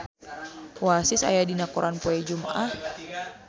Oasis aya dina koran poe Jumaah